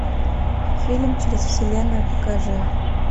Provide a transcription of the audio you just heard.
фильм через вселенную покажи